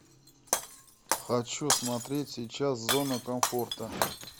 хочу смотреть сейчас зона комфорта